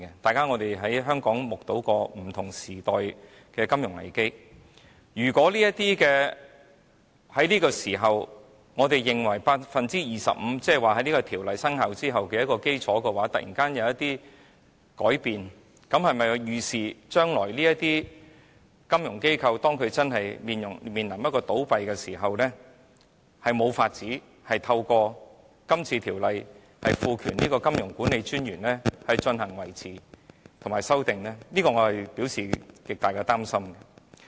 大家在香港也曾目睹不同時代的金融危機，如果我們在這個時候訂明為 25%， 而在這條例生效後的基礎突然有所改變，這是否可以預視將來當這些金融機構真的面臨倒閉時，便無法透過《條例草案》賦權金融管理專員維持或修訂恢復計劃，我對此表示極大的擔心。